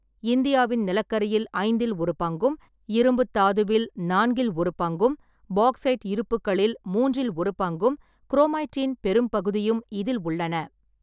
இந்தியாவின் நிலக்கரியில் ஐந்தில் ஒரு பங்கும், இரும்புத் தாதுவில் நான்கில் ஒரு பங்கும், பாக்சைட் இருப்புக்களில் மூன்றில் ஒரு பங்கும், குரோமைட்டின் பெரும்பகுதியும் இதில் உள்ளன.